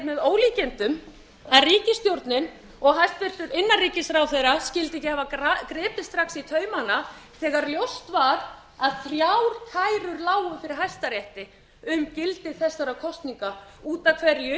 með ólíkindum að ríkisstjórnin og hæstvirtur innanríkisráðherra skyldu ekki hafa gripið strax í taumana þegar ljóst var að þrjár kærur lágu fyrir hæstarétti um gildi þessara kosninga út af hverju